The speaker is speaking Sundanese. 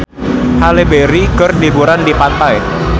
Halle Berry keur liburan di pantai